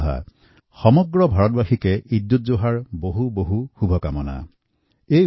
এই উপলক্ষে সমগ্ৰ দেশবাসীক ঈদউলজুহাৰ বহুত বহুত অভিনন্দন আৰু শুভকামনা জনাইছোঁ